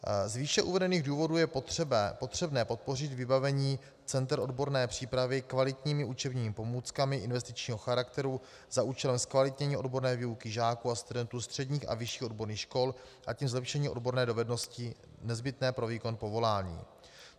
Z výše uvedených důvodů je potřebné podpořit vybavení center odborné přípravy kvalitními učebními pomůckami investičního charakteru za účelem zkvalitnění odborné výuky žáků a studentů středních a vyšších odborných škol, a tím zlepšení odborné dovednosti nezbytné pro výkon povolání.